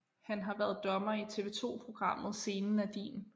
Han har været dommer i TV2 programmet Scenen er din